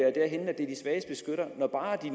svages beskyttere når bare de